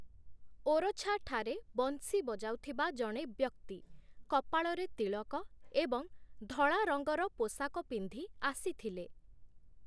ଓରଛା'ଠାରେ ବଂଶୀ ବଜାଉଥିବା ଜଣେ ବ୍ୟକ୍ତି, କପାଳରେ ତିଳକ ଏବଂ ଧଳା ରଙ୍ଗର ପୋଷାକ ପିନ୍ଧି ଆସିଥିଲେ ।